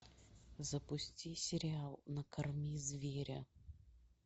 запусти сериал накорми зверя